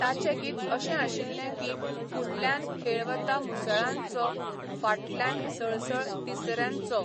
ताचें गीत अशें आशिल्लें की, फुडल्यान खेळ वता मुसळांचो, फाटल्यान सळसळ तिसऱ्यांचो